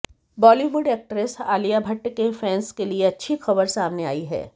Bollywood actress Alia Bhatt के fans के लिए अच्छी खबर सामने आई है